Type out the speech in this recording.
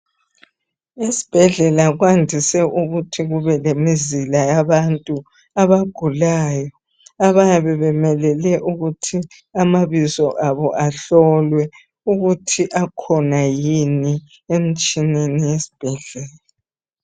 Esibhedlela kwandise ukuthi kube lemizila yabantu abagulayo abayabe bemelele ukuthi amabizo abo ahlolwe ukuthi akhona yini emitshineni yesibhedlela.